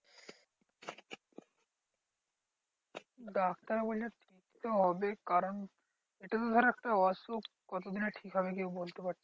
Doctor বলছে হবে কারণ এটা ধর একটা অসুখ কতদিনে ঠিক হবে কেউ বলতে পারছে না?